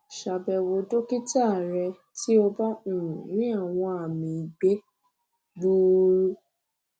ṣàbẹwò dókítà rẹ tí o bá um rí àwọn àmì igbe um gbuuru